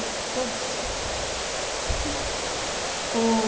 Nossa, todos. O